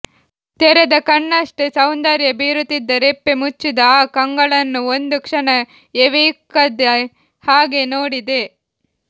ತೆರೆದ ಕಣ್ಣಷ್ಟೇ ಸೌಂದರ್ಯ ಬೀರುತ್ತಿದ್ದ ರೆಪ್ಪೆ ಮುಚ್ಚಿದ ಆ ಕಂಗಳನ್ನು ಒಂದು ಕ್ಷಣ ಎವೆಯಿಕ್ಕದೆ ಹಾಗೇ ನೋಡಿದೆ